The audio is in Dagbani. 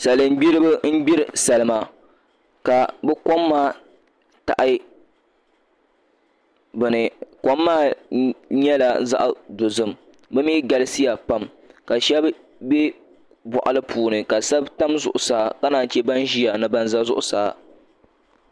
Salin gbiribi n gbiri salima ka bi kom maa taɣa bini kom maa nyɛla zaɣ dozim bi mii galisiya pam ka shab bɛ boɣali puuni ka shab tam zuɣusaa ka naan chɛ ban ʒiya ni ban ʒɛ zuɣusaa